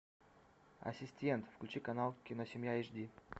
ассистент включи канал киносемья эйч ди